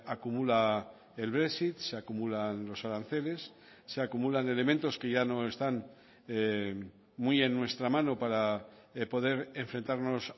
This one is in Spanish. acumula el brexit se acumulan los aranceles se acumulan elementos que ya no están muy en nuestra mano para poder enfrentarnos